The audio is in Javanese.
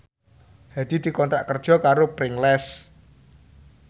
Hadi dikontrak kerja karo Pringles